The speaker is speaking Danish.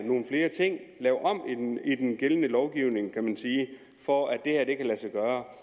nogle flere ting og lave om i den gældende lovgivning for at det her kan lade sig gøre